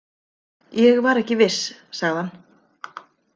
Ég var ekki viss, sagði hann.